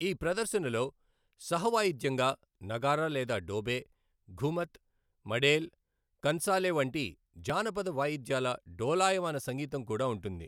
ఈ ప్రదర్శనలో సహవాయిద్యంగా నగారా లేదా డోబే, ఘుమత్, మడేల్, కన్సాలే వంటి జానపద వాయిద్యాల డోలాయమాన సంగీతం కూడా ఉంటుంది.